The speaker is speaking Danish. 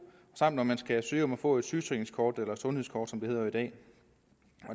samt når man skal søge om at få et sygesikringskort eller sundhedskort som det hedder i dag